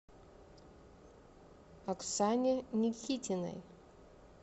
оксане никитиной